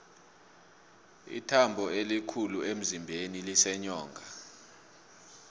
ithambo elikhulu emzimbeni liseenyongeni